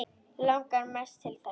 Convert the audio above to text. Langaði mest til þess.